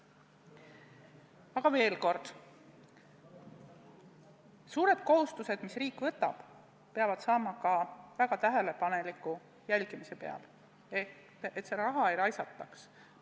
Aga veel kord: suured kohustused, mis riik võtab, peavad olema väga tähelepaneliku jälgimise all, et seda raha ei raisataks.